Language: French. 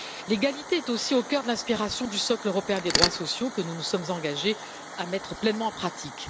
L'égalité est aussi au cœur de l'inspiration du socle européen des droits sociaux que nous nous sommes engagés à mettre pleinement en pratique.